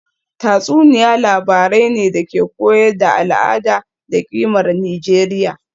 Tatsuniya labarai ne da ke koyar da al’ada da kimar Nijeriya